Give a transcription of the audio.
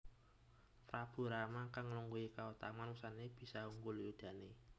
Prabu Rama kang nglungguhi kautaman wusanané bisa unggul yudané